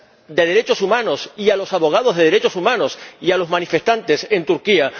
de derechos humanos, los abogados de derechos humanos y los manifestantes en Turquía.